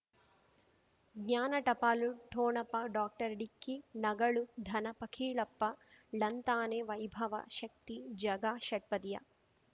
ಜ್ಞಾನ ಟಪಾಲು ಠೋಣಪ ಡಾಕ್ಟರ್ ಢಿಕ್ಕಿ ಣಗಳು ಧನ ಫಕೀರಪ್ಪ ಳಂತಾನೆ ವೈಭವ ಶಕ್ತಿ ಝಗಾ ಷಟ್ಪದಿಯ